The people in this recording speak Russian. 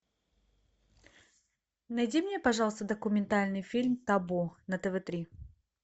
найди мне пожалуйста документальный фильм табу на тв три